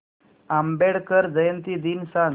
आंबेडकर जयंती दिन सांग